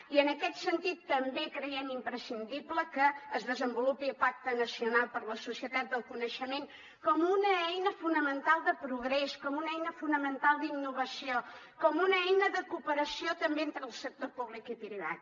i en aquest sentit també creiem imprescindible que es desenvolupi el pacte nacional per a la societat del coneixement com una eina fonamental de progrés com una eina fonamental d’innovació com una eina de cooperació també entre el sector públic i privat